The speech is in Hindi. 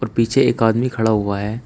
और पीछे एक आदमी खड़ा हुआ है।